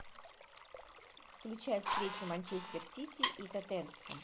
включай встречу манчестер сити и тоттенхэм